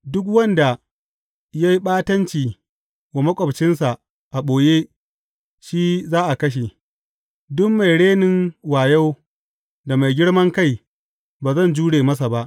Duk wanda ya yi ɓatanci wa maƙwabcinsa a ɓoye shi za a kashe; duk mai renin wayo da mai girman kai, ba zan jure masa ba.